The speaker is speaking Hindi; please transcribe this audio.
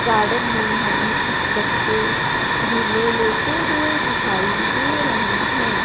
गार्डन में हमें कुछ बच्चे झूले लेते हुए दिखाई दे रहे हैं।